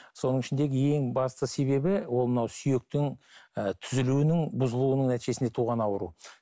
соның ішіндегі ең басты себебі ол мынау сүйектің ііі түзілуінің бұзылуының нәтижесінде туған ауру